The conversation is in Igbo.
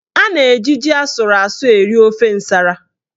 A na-eji ji asụrụ asụ eri ofe nsara.